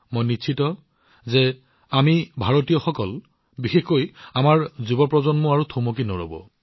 মোৰ সম্পূৰ্ণ বিশ্বাস যে আমি ভাৰতীয়সকল বিশেষকৈ আমাৰ যুৱ প্ৰজন্ম এতিয়া স্তব্ধ নহম